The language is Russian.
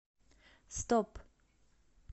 стоп